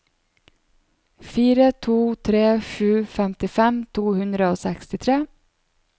fire to tre sju femtifem to hundre og sekstitre